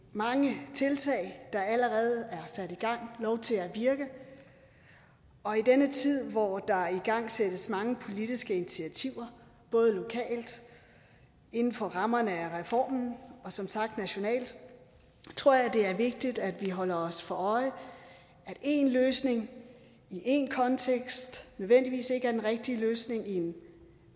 mange tiltag der allerede er sat i gang lov til at virke og i denne tid hvor der igangsættes mange politiske initiativer både lokalt inden for rammerne af reformen og som sagt nationalt tror jeg det er vigtigt at vi holder os for øje at én løsning i én kontekst ikke nødvendigvis er den rigtige løsning i en